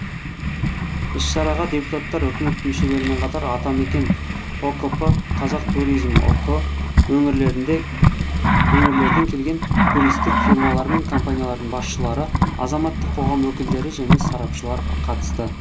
іс шараға депутаттар үкімет мүшелерімен қатар атамекен ұкп қазақтуризм ұк өңірлерінде келген туристік фирмалар мен компаниялардың басшылары азаматтық қоғам өкілдері және сарапшылар қатысты